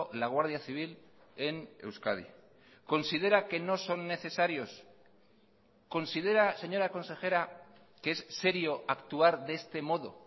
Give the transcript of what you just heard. la guardia civil en euskadi considera que no son necesarios considera señora consejera que es serio actuar de este modo